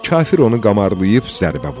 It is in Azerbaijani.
Kafir onu qamarlayıb zərbə vurdu.